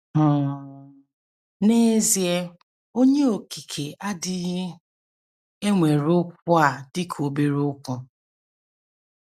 um N’ezie, Onye Okike adịghị ewere okwu a dị ka obere okwu.